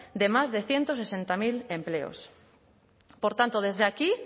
de más de ciento sesenta mil empleos por tanto desde aquí